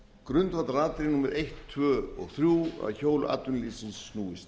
grundvallaratriði númer eitt tvö og þrjú að hjól atvinnulífsins snúist